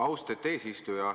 Austet eesistuja!